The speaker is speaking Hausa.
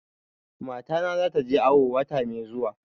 Matana za ta je awo wata mai zuwa